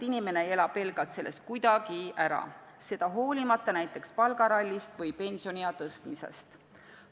Inimene ei elaks pelgalt sellest kuidagi ära hoolimata ka näiteks palgarallist või pensioniea tõstmisest.